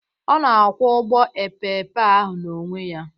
Ọ na-akwọ ụgbọ epeepe ahụ n'onwe ya